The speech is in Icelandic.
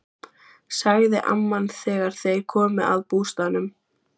sagði amman þegar þeir komu að bústaðnum.